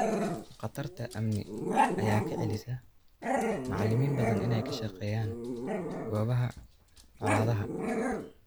Khatarta amni ayaa ka celisa macalimiin badan inay ka shaqeeyaan goobaha colaadaha.